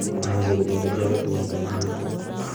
Imuchi konyor chi age tugul kaimutikik